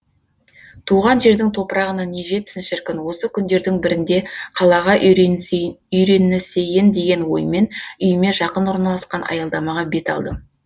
туған жердің топырағына не жетсін шіркін осы күндердің бірінде қалаға үйренісейін деген оймен үйіме жақын орналасқан аялдамаға бет алдым